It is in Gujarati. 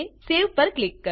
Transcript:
સવે પર ક્લિક કરો